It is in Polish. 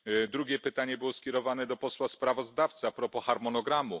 Drugie pytanie było skierowane do posła sprawozdawcy propos harmonogramu.